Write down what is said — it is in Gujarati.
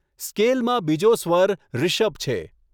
સ્કેલમાં બીજો સ્વર રિષભ છે.